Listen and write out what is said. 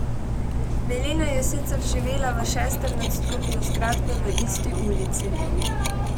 Milena je sicer živela v šestem nadstropju zgradbe v isti ulici.